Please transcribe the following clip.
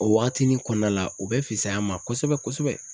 O waatinin kɔnɔna la u bɛ fisaya an ma kosɛbɛ kosɛbɛ.